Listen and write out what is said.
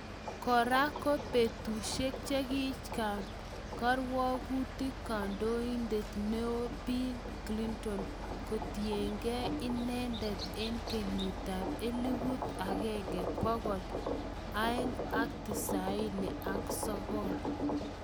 Kora ko betushek chekikang�m kirwogutik kandondet neo Bill Clinton kotiyengen inende en kenyitab elfut aenge bokol sogol ak tisaini ak sogol